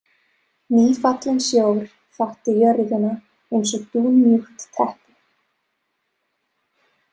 Nýfallinn sjór þakti jörðina eins og dúnmjúkt teppi.